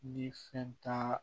Ni fɛn t'a la